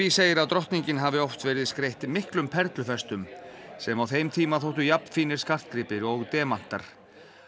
segir að drottningin hafi oft verið skreytt miklum perlufestum sem á þeim tíma þóttu skartgripir og demantar